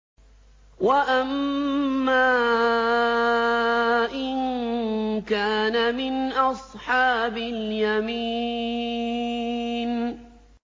وَأَمَّا إِن كَانَ مِنْ أَصْحَابِ الْيَمِينِ